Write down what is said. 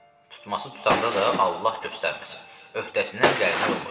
Tutması tutanda da Allah göstərməsin, öhdəsindən gəlmək olmur.